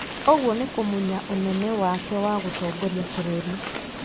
Ũguo nĩ kũmunya ũnene wake wa gũtongoria bũrũri.